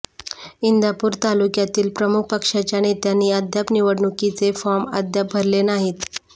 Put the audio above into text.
इंदापूर तालुक्यातील प्रमुख पक्षाच्या नेत्यांनी अद्याप निवडणुकीचे फॉर्म अद्याप भरले नाहीत